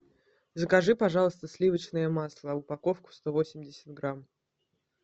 закажи пожалуйста сливочное масло упаковку сто восемьдесят грамм